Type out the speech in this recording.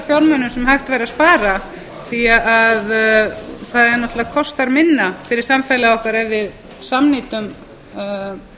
fjármunum sem hægt væri að spara því það náttúrlega kostar minna fyrir samfélagið okkar ef við samnýtum atkvæðagreiðslur ég vil bara benda á það að